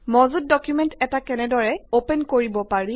মজুত ডকুমেন্ট এটা কেনেদৰে অপেন কৰিব পাৰি